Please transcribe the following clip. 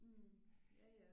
Hm ja ja